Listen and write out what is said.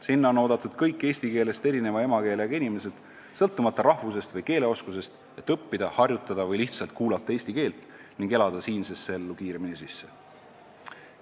Sinna on oodatud kõik inimesed, kelle emakeel pole eesti keel, sõltumata nende rahvusest ja keeleoskusest, et õppida, harjutada või lihtsalt kuulata eesti keelt ning elada siinsesse ellu kiiremini sisse.